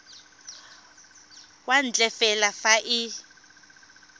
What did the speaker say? kwa ntle fela fa e